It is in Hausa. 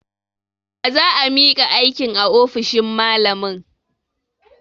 Za a miƙa aikin a ofishin malamin.